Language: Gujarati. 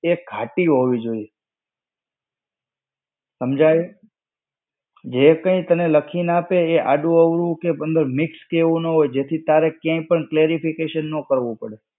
એ ઘાટી હોવી જોઈએ સમજાયું. જે કઈ તને લખીને આપે એ આડું-અવળું કે મતલબ mix કે એવું ન હોય જેથી તારે ક્યાંય પણ clarification ન કરવું પડે.